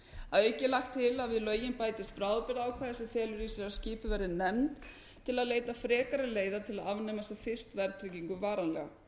að auki er lagt til að við lögin bætist bráðabirgðaákvæði sem felur í sér að skipuð verði nefnd til að leita frekari leiða til að afnema sem fyrst verðtryggingu varanlega